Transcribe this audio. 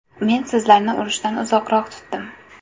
Men sizlarni urushdan uzoqroq tutdim.